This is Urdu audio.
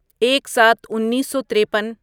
ایک سات انیسو تریپن